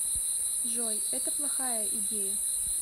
джой это плохая идея